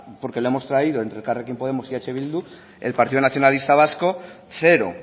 porque lo hemos traído entre elkarrekin podemos y eh bildu el partido nacionalista vasco cero